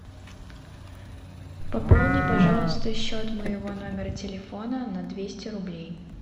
пополни пожалуйста счет моего номера телефона на двести рублей